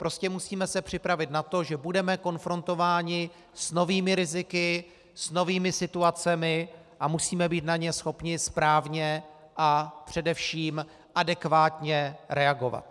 Prostě musíme se připravit na to, že budeme konfrontováni s novými riziky, s novými situacemi a musíme být na ně schopni správně a především adekvátně reagovat.